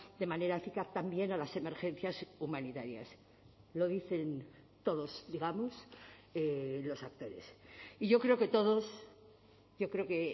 de manera eficaz también a las emergencias humanitarias lo dicen todos digamos los actores y yo creo que todos yo creo que